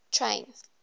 train